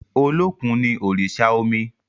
Olókùn no òrìṣà omi.